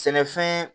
Sɛnɛfɛn